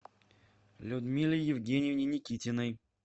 людмиле евгеньевне никитиной